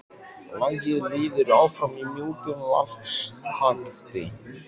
Lagið líður áfram í mjúkum valstakti.